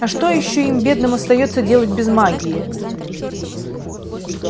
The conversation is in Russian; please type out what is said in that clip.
а что ещё им бедным остаётся делать без магии